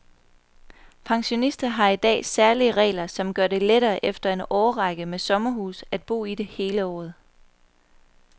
Pensionister har i dag særlige regler, som gør det lettere efter en årrække med sommerhus at bo i det hele året.